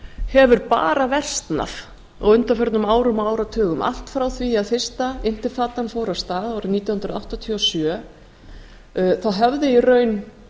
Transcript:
hefur bara versnað á undanförnum árum og áratugum allt frá því að fyrsta intefadan fór af stað árið nítján hundruð áttatíu og sjö höfðu í raun